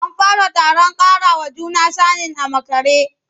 An fara taron ƙarawa juna sanin a makare.